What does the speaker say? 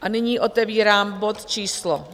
A nyní otevírám bod číslo